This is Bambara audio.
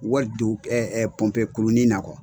Wari don pɔnpe kurunin na .